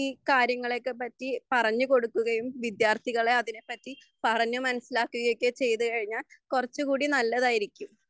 ഈ കാര്യങ്ങളെയൊക്കെപ്പറ്റി പറഞ്ഞു കൊടുക്കുകയും വിദ്യാർത്ഥികളെ അതിനെപ്പറ്റി പറഞ്ഞുമനസിലാക്കുകയൊക്കെ ചെയ്‌തു കഴിഞ്ഞാൽ കുറച്ചുകൂടി നല്ലതായിരിക്കും